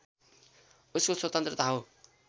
उसको स्वतन्त्रता हो